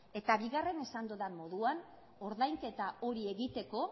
eta bigarren esan dudan moduan ordainketa hori egiteko